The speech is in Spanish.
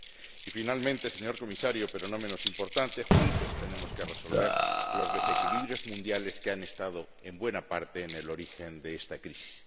Y, finalmente, señor Comisario, pero no menos importante, juntos tenemos que resolver los desequilibrios mundiales que han estado, en buena parte, en el origen de esta crisis.